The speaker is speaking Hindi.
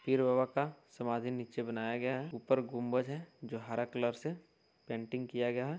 पीर बाबा का समाधी नीचे बनाया गया है। ऊपर गुम्बज है जो हरा कलर से पेंटिंग किया गया है।